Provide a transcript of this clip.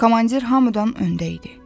Komandir hamıdan öndə idi.